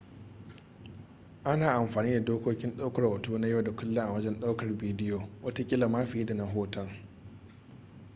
ana amfani da dokokin daukar hoto na yau da kullum a wajen daukar bidiyo watakila ma fiye da na hoton